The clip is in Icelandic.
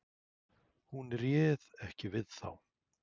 Hún réð ekki við þá.